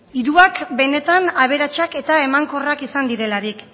hirurak benetan aberatsak eta emankorrak izan direlarik